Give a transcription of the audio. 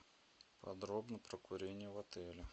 подробно про курение в отеле